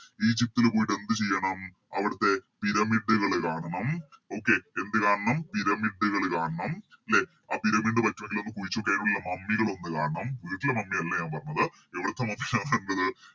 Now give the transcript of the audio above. എന്ത് ചെയ്യണം അവിടുത്തെ Pyramid കള് കാണണം Okay എന്ത് കാണണം Pyramid കള് കാണണം ലെ ആ Pyramid പറ്റൂങ്കിലൊന്ന് കുഴിചോക്കി അയിനുള്ളിലെ Mummy കളൊന്ന് കാണണം വീട്ടിലെ Mummy അല്ല ഞാൻ പറഞ്ഞത് എവിടുത്തെ Mummy യാണെണ്ടത്